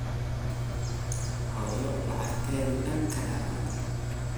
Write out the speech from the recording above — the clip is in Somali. Xoyoo lacagteydha dhaan kadhate.